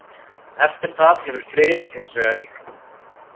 Eftir það hefur friður hins vegar ríkt.